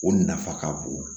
O nafa ka bon